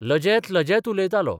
लजेत लजेत उलयतालो.